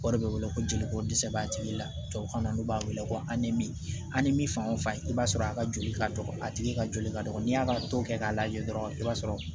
O de bɛ wele ko jeliko dɛsɛ b'a tigi la tubabukan na n'u b'a wele ko an ni min fan o fan i b'a sɔrɔ a ka joli ka dɔgɔ a tigi ka joli ka dɔgɔ n'i y'a ka ko kɛ k'a lajɛ dɔrɔn i b'a sɔrɔ